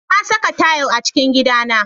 Na saka tayil a cikin gidana.